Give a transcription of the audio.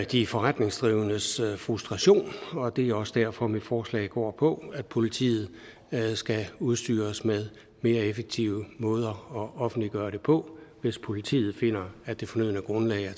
de forretningsdrivendes frustration og det er også derfor mit forslag går på at politiet skal udstyres med mere effektive måder at offentliggøre det på hvis politiet finder at det fornødne grundlag